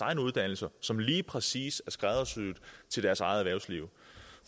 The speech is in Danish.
egne uddannelser som lige præcis er skræddersyet til deres eget erhvervsliv